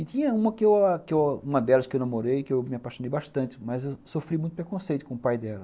E tinha uma que eu uma delas que eu namorei, que eu me apaixonei bastante, mas eu sofri muito preconceito com o pai dela.